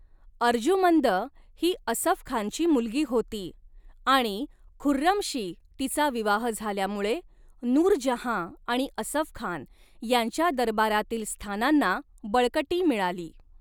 अर्जुमंद ही असफ खानची मुलगी होती आणि खुर्रमशी तिचा विवाह झाल्यामुळे नूरजहाँ आणि असफ खान यांच्या दरबारातील स्थानांना बळकटी मिळाली.